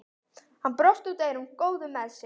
Hann brosti út að eyrum, góður með sig.